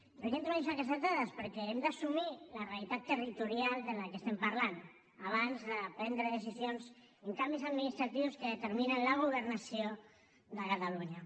per què introdueixo aquestes dades perquè hem d’assumir la realitat territorial de la qual estem parlant abans de prendre decisions en canvis administratius que determinen la governació de catalunya